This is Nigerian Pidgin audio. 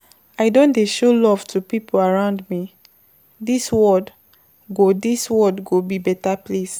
I don dey show love to pipo around me, dis world go dis world go be beta place.